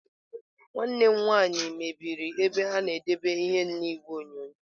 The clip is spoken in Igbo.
Nwanne m nwaanyị mebiri ebe a na-edebe ihe n'igwe onyonyo.